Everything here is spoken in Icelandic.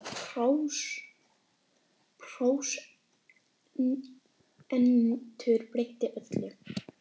En vitundin um prósentur breytti öllu.